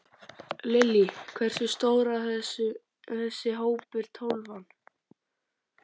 Lillý: Hversu stór er þessi hópur, Tólfan?